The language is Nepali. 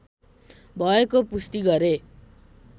भएको पुष्टि गरे